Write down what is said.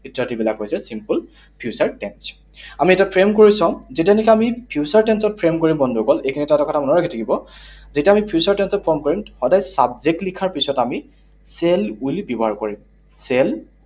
ইত্যাদিবিলাক হৈছে simple future tense, আমি এতিয়া frame কৰি চাওঁ। যেতিয়ালৈকে আমি future tense ত frame কৰিম বন্ধুসকল, এইখিনিতে এটা কথা মনত ৰাখি থব। যেতিয়া আমি future tense ত form কৰিম, সদায় subject লিখাৰ পিছত আমি shall, will ব্যৱহাৰ কৰিম। Shall